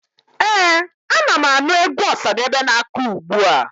Ee, ana m anụ egwu Ọsadebe na-akụ ugbua.